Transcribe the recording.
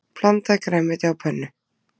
Blandað grænmeti á pönnu